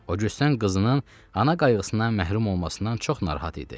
O cüstdən qızının ana qayğısından məhrum olmasından çox narahat idi.